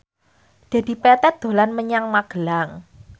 Dedi Petet dolan menyang Magelang